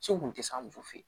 Se kun te s'an ma u fe yen